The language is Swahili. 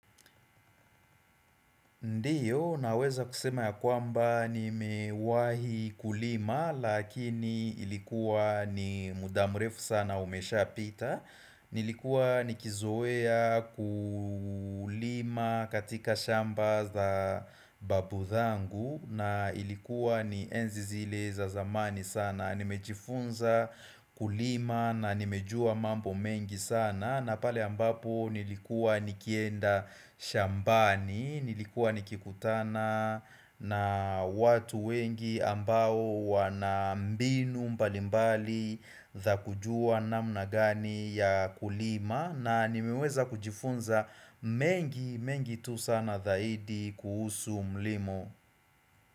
Ndiyo naweza kusema ya kwamba nimewahi kulima lakini ilikuwa ni muda mrefu sana umeshapita nilikua nikizoea kulima katika shamba za babu zangu na ilikuwa ni enzi zile za zamani sana Nimejifunza kulima na nimejua mambo mengi sana na pale ambapo nilikua nikienda shambani Nilikuwa nikikutana na watu wengi ambao wanambinu mbalimbali za kujua namna gani ya kulima na nimiweza kujifunza mengi mengi tu sana zaidi kuhusu mlimo.